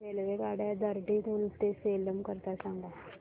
रेल्वेगाड्या दिंडीगुल ते सेलम करीता सांगा